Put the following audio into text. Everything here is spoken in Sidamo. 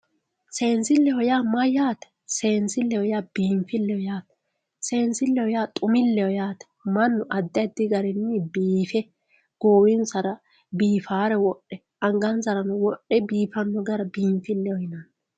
seensilleho yaa mayyaate seensilleho yaa biinfilleho yaate seenssilleho yaa xumilleho yaate mannu addi addi garinni biife goowinsara biifaare wodhe angansarano wodhe biifanno gara biinfilleho yinanni.